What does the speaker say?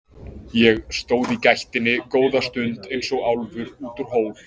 Ég stóð í gættinni góða stund eins og álfur út úr hól.